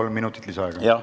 Kolm minutit lisaaega.